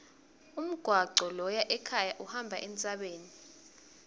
umgwaco loya ekhaya uhamba entsabeni